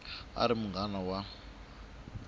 a a ri munghana wa